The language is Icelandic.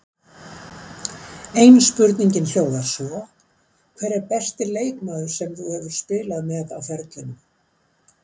Ein spurningin hljóðar svo: hver er besti leikmaður sem þú hefur spilað með á ferlinum?